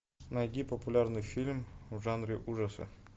найди популярный фильм в жанре ужасы